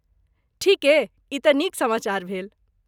ठीके? ई तँ नीक समाचार भेल।